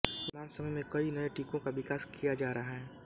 वर्तमान समय में कई नये टीकों का विकास किया जा रहा है